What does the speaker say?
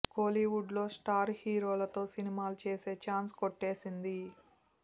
కోలీవుడ్ లో స్టార్ హీరోలతో సినిమాలు చేసే ఛాన్స్ కొట్టేసింది